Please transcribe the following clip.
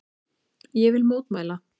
Ég vil mótmæla.